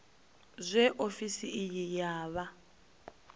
zwe ofisi iyi ya vha